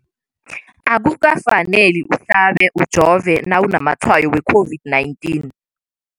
Akuka faneli uhlabe, ujove nawu namatshayo we-COVID-19.